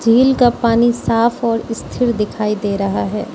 झील का पानी साफ और स्थिर दिखाई दे रहा है।